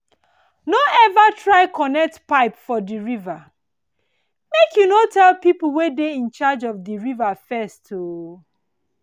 no ever try connect pipe for di river make you no tell people wey dey in charge of di water first o